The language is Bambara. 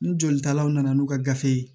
Ni jolitalaw nana n'u ka gafe ye